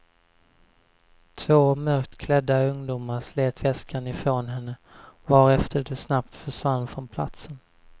Två mörkt klädda ungdomar slet väskan ifrån henne, varefter de snabbt försvann från platsen.